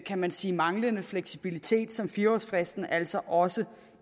kan man sige manglende fleksibilitet som fire årsfristen altså også